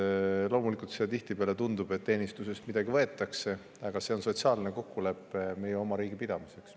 Loomulikult tundub see tihtipeale, et teenistusest midagi ära võetakse, aga see on sotsiaalne kokkulepe meie oma riigi pidamiseks.